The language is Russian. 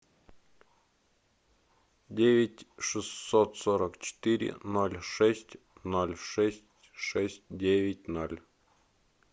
девять шестьсот сорок четыре ноль шесть ноль шесть шесть девять ноль